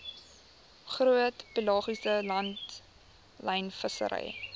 groot pelagiese langlynvissery